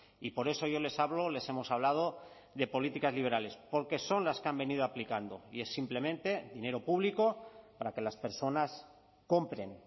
y por eso yo les hablo les hemos hablado de políticas liberales porque son las que han venido aplicando y es simplemente dinero público para que las personas compren